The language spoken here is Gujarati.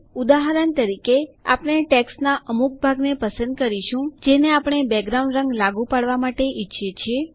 ઉદાહરણ તરીકે આપણે ટેક્સ્ટના અમુક ભાગને પસંદ કરીશું જેને આપણે બેકગ્રાઉન્ડ રંગ લાગુ કરવા માટે ઈચ્છીએ છીએ